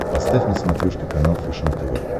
поставь на смотрешке канал фэшен тв